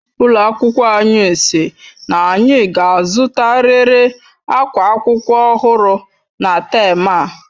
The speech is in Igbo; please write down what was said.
Ụlọ akwụkwọ anyi sị n'anyi ga azutariri akwa akwụkwọ ọhụrụ na tem a..